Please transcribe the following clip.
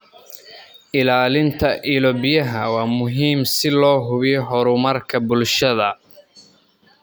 Ilaalinta ilo-biyaha waa muhiim si loo hubiyo horumarka bulshada.